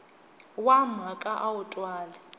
wa mhaka a wu twali